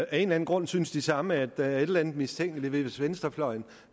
anden grund synes de samme at der er et eller andet mistænkeligt ved det hvis venstrefløjen